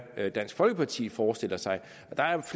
hvad dansk folkeparti forestiller sig